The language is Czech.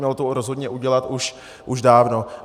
Mělo to rozhodně udělat už dávno.